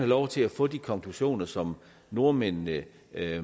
lov til at få de konklusioner som nordmændene